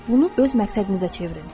Bunu öz məqsədinizə çevirin.